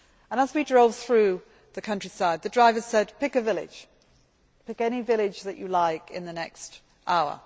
As we drove through the countryside the driver said, pick a village, pick any village that you like in the next hour'.